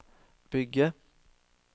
bygge